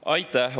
Aitäh!